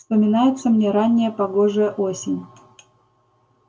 вспоминается мне ранняя погожая осень